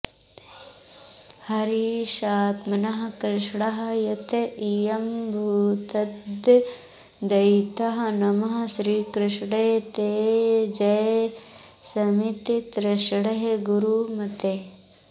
हरीशात्मा कृष्णा यत इयमभूद्दत्तदयिता नमः श्रीकृष्णे ते जय शमिततृष्णे गुरुमते